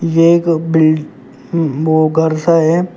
ये एक बिल वो घर सा है।